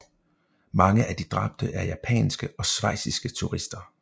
Mange af de dræbte er japanske og schweiziske turister